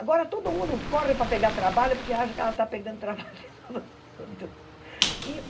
Agora todo mundo corre para pegar trabalho porque acha que ela está pegando trabalho de todo mundo. E